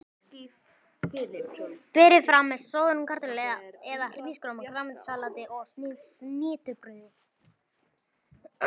Berið fram með soðnum kartöflum eða hrísgrjónum, grænmetissalati og snittubrauði.